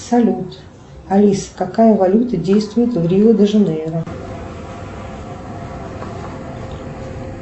салют алиса какая валюта действует в рио де жанейро